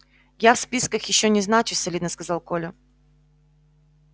я в списках ещё не значусь солидно сказал коля